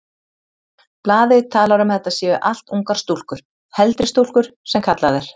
Blaðið talar um að þetta séu allt ungar stúlkur, heldri stúlkur sem kallað er.